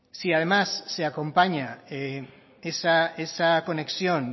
si además se acompaña esa conexión